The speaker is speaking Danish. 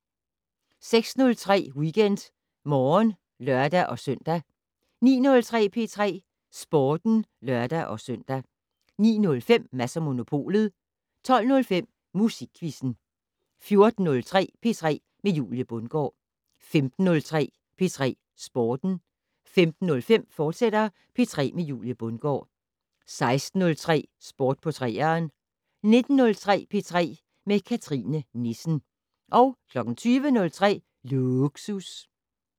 06:03: WeekendMorgen (lør-søn) 09:03: P3 Sporten (lør-søn) 09:05: Mads & Monopolet 12:05: Musikquizzen 14:03: P3 med Julie Bundgaard 15:03: P3 Sporten 15:05: P3 med Julie Bundgaard, fortsat 16:03: Sport på 3'eren 19:03: P3 med Cathrine Nissen 20:03: Lågsus